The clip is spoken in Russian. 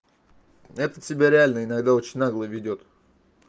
этот себя реально иногда очень нагло ведёт